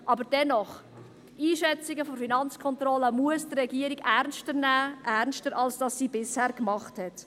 Aber dennoch: Einschätzungen der FK muss die Regierung ernster nehmen, ernster als sie das bisher getan hat.